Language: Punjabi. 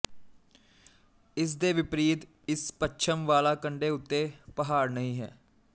ਇਸ ਦੇ ਵਿਪਰੀਤ ਇਸ ਪੱਛਮ ਵਾਲਾ ਕੰਡੇ ਉੱਤੇ ਪਹਾੜ ਨਹੀਂ ਹੈ